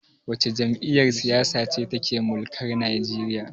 Wace jam'iyyar siyasa ce take mulkar Nigeria?